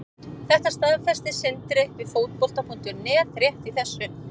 Þetta staðfesti Sindri við Fótbolta.net rétt í þessu.